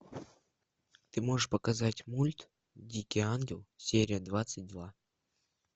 ты можешь показать мульт дикий ангел серия двадцать два